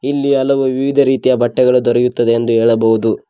ಇಲ್ಲಿ ಹಲವು ವಿವಿಧ ರೀತಿಯ ಬಟ್ಟೆಗಳು ದೊರೆಯುತ್ತದೆ ಎಂದು ಹೇಳಬಹುದು.